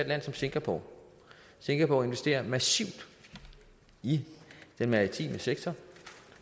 land som singapore singapore investerer massivt i den maritime sektor